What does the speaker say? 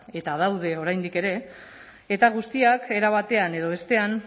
eta daude oraindik ere eta guztiak era batean edo bestean